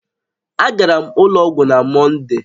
Agara m ụlọ ọgwụ na Mọnde